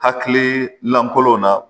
Hakili lankolonw na